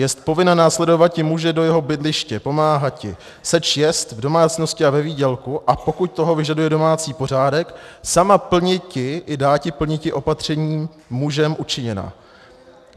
Jest povinna následovati muže do jeho bydliště, pomáhati seč jest v domácnosti a ve výdělku, a pokud toho vyžaduje domácí pořádek, sama plniti i dáti plniti opatření mužem učiněná.